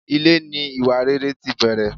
Ilé ní iwáréré tí bẹrè